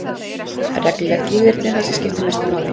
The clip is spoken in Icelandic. Reglulegt líferni er það sem skiptir mestu máli.